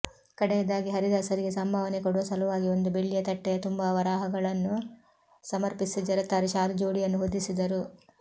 ಕಡೆಯದಾಗಿ ಹರಿದಾಸರಿಗೆ ಸಂಭಾವನೆ ಕೊಡುವ ಸಲುವಾಗಿ ಒಂದು ಬೆಳ್ಳಿಯ ತಟ್ಟೆಯ ತುಂಬ ವರಾಹಗಳನ್ನು ಸಮರ್ಪಿಸಿ ಜರತಾರಿ ಶಾಲು ಜೋಡಿಯನ್ನು ಹೊದಿಸಿದರು